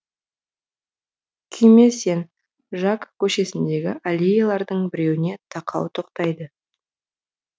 күйме сен жак көшесіндегі аллеялардың біреуіне тақау тоқтайды